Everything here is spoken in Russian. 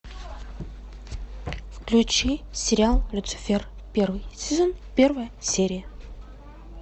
включи сериал люцифер первый сезон первая серия